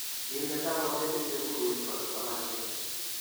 Kimeto konetinte bukuit ne bo kipsomaninik.